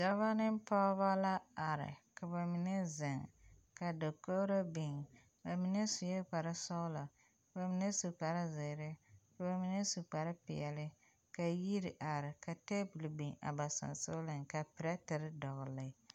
Dɔbɔ ne pɔgeba la are daogri la biŋ sue kpare sɔgla ka ba mine su kpare zeere ka ba mine su kpare peɛle ka yiri are ka tebol biŋ a ba sensɔgleŋ ka pɛrɛterevdɔgle.